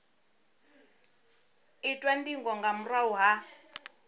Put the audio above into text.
itwa ndingo nga murahu ha